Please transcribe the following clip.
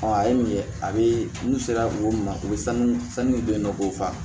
a ye min ye a bɛ n'u sera o ma o bɛ sanu sanu don yen nɔ k'o fa